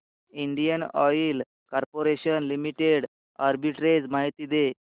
Indian oil corporation limited arbitrage माहिती दे